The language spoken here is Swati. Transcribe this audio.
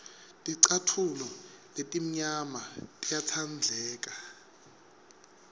ticatfulo letimnyama tiyatsandleka